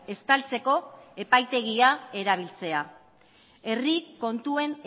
estaltzeko epaitegia erabiltzea herri kontuen